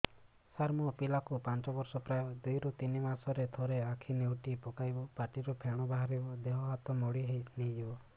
ସାର ମୋ ପିଲା କୁ ପାଞ୍ଚ ବର୍ଷ ପ୍ରାୟ ଦୁଇରୁ ତିନି ମାସ ରେ ଥରେ ଆଖି ନେଉଟି ପକାଇବ ପାଟିରୁ ଫେଣ ବାହାରିବ ଦେହ ହାତ ମୋଡି ନେଇଯିବ